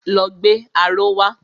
Lọ gbé aró wa!